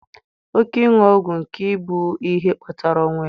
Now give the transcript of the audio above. Oke ịṅụ ọgwụ ike bụ ihe kpatara ọnwụ ya.